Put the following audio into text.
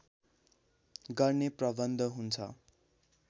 गर्ने प्रबन्ध हुन्छ